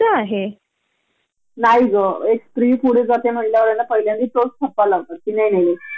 पन ते सेव्ह करतच नाही मग ते तिथे बरोबर रिफलेक्ट होत नाही म्हणजे बॉस समोर पुन्हा आमचा इंप्रेशन कमी.